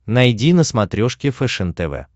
найди на смотрешке фэшен тв